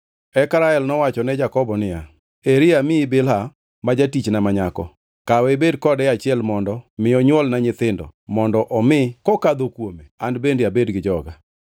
Eka Rael nowacho ne Jakobo niya, “Eri amiyi Bilha ma jatichna ma nyako. Kawe ibed kode e achiel mondo mi onywolna nyithindo mondo omi kokadho kuome an bende abed gi joga.”